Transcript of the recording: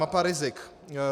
Mapa rizik.